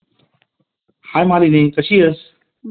Hi Malini कशी आहेस